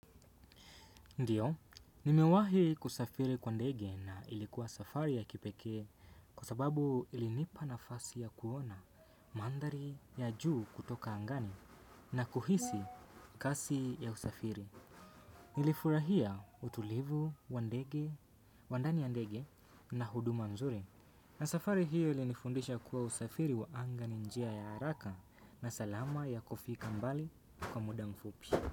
Ndiyo, nimewahi kusafiri kwa ndege na ilikuwa safari ya kipekee kwa sababu ilinipa nafasi ya kuona mandhari ya juu kutoka angani na kuhisi kasi ya usafiri. Nilifurahia utulivu wa ndani ya ndege na huduma nzuri. Na safari hiyo ilinifundisha kuwa usafiri wa anga ni njia ya haraka na salama ya kufika mbali kwa muda mfupi.